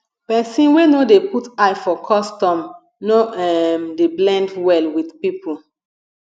pesin wey no dey put eye for custom no um dey blend well with pipo